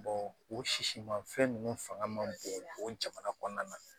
o sisiman fɛn nunnu fanga ma bon o jamana kɔnɔna na